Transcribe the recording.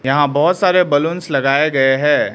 यहां बहुत सारे बलूंस लगाए गए हैं।